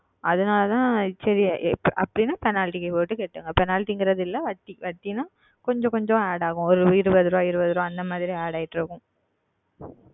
அதுனால் தான் சரி அப்படி Penalty போட்டு Penalty என்று இல்லை வட்டி வட்டி என்றால் கொஞ்சம் கொஞ்சம் Add ஆகும் ஓர் இருபது ரூபாய் இருபது ரூபாய் அந்த மாதிரி Add ஆகிக்கொண்டு இருக்கும்